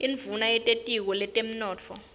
induuna yetitiko letemnotfo